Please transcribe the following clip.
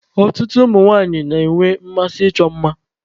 Ọtụtụ ụmụ nwanyị na-enwe mmasị ịchọ mma.